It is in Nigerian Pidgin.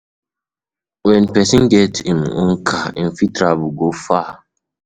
When person get im own car, im fit travel go far